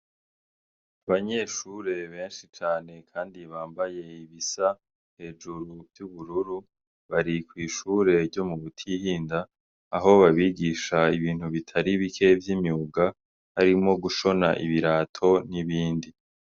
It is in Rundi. Abanyeshure benshi cane, kandi bambaye ibisa hejuru vy'ubururu, bari kw'ishure ryo mu Butihinda, aho babigisha ibintu bitari bike vy'imyuga harimwo gushona ibirato n'ibindi.